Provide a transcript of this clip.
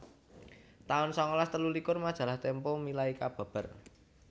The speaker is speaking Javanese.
taun sangalas telulikur Majalah Tempo milai kababar